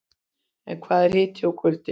En hvað er hiti og kuldi?